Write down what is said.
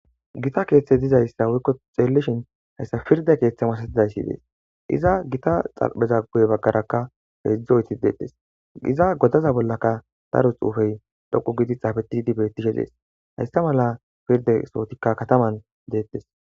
Gitta keeththe dizayssa woykko xeellishin hayssa pirde keeththa masatizayssi dees iza gita xarapheza guye baggarakka heedzdzu oyddeti deettes iza godaza bollaka daro xuufey dhoqqu gidi xaafetidi beettishe dees hayssa mala pirde sohotikka kataman deettes